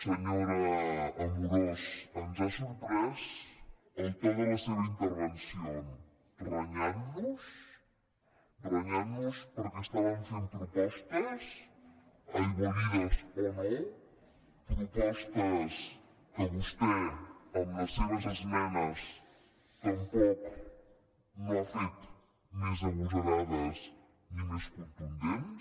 senyora amorós ens ha sorprès el to de de la seva intervenció renyant nos renyant nos perquè estàvem fent propostes aigualides o no propostes que vostè amb les seves esmenes tampoc no ha fet més agosarades ni més contundents